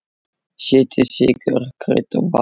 Setjið sykur, krydd og vatn.